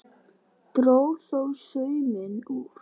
Dró þó sauminn úr.